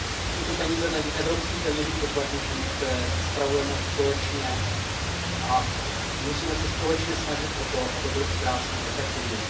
Jsou to peníze evropských daňových poplatníků, které spravujeme společně, a musíme se společně snažit o to, aby byly utráceny efektivně.